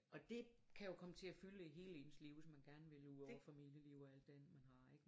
Og det kan jo komme til at fylde hele ens liv hvis man gerne vil udover familieliv og alt det andet man har ikke